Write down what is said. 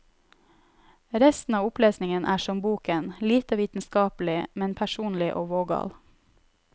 Resten av opplesningen er som boken, lite vitenskapelig, men personlig og vågal.